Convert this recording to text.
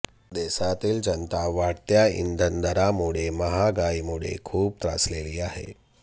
देशातील जनता वाढत्या इंधन दरांमुळे महागाईमुळे खूप त्रासलेली आहे